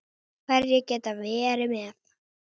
Hverjir geta verið með?